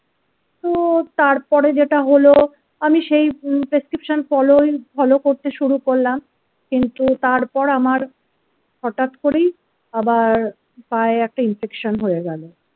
তো তারপরে যেটা হলো আমি সেই prescription ফলোই ফলো করতে শুরু করলাম. কিন্তু তারপর আমার হঠাৎ করেই আবার পায়ে একটা infection হয়ে গেলো।